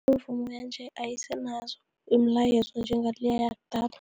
Imivumo yanje ayisenazo imilayezo njengaleya yakudala.